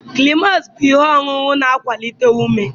climax bụ ihe ọṅụṅụ na-akwalite ume.